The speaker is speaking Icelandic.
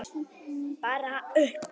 Bara upp!